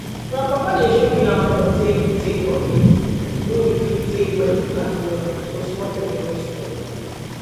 grandpapa dey show we how for take take bucket wey we fit take wet plant well so small pepper no spoil